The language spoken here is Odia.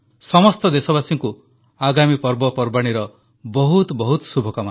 ସମସ୍ତ ଦେଶବାସୀଙ୍କୁ ଆଗାମୀ ପର୍ବପର୍ବାଣୀର ବହୁତ ବହୁତ ଶୁଭକାମନା